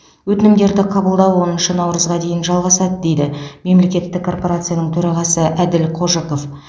өтінімдерді қабылдау оныншы наурызға дейін жалғасады дейді мемлекеттік корпорацияның төрағасы әділ қожықов